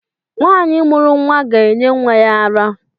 Nwaanyi mụrụ nwa gá-enye nwa ya ara.